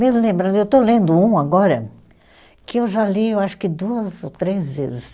Mesmo lembrando, eu estou lendo um agora que eu já li, eu acho que duas ou três vezes.